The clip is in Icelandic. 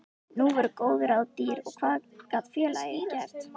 Nú voru góð ráð dýr og hvað gat félagið gert?